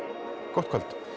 gott kvöld